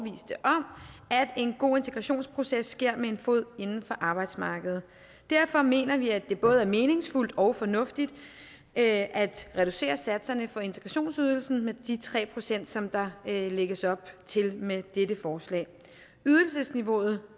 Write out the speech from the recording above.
at en god integrationsproces sker med en fod inden for arbejdsmarkedet derfor mener vi at det både er meningsfuldt og fornuftigt at reducere satserne for integrationsydelsen med de tre pct som der lægges op til med dette forslag ydelsesniveauet